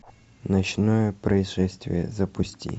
ночное происшествие запусти